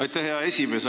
Aitäh, hea esimees!